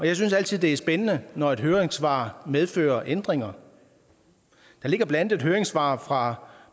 jeg synes altid det er spændende når et høringssvar medfører ændringer der ligger blandt andet et høringssvar fra